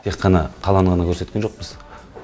тек қана қаланы ғана көрсеткен жоқпыз